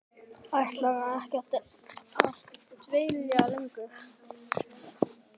Ætlarðu ekki að dvelja lengur?